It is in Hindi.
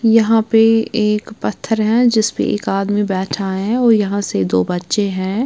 यहाँ पे एक पत्थर है जिस पर एक आदमी बैठा है और यहाँ से दो बच्चे हैं।